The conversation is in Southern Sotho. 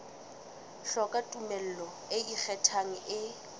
hloka tumello e ikgethang e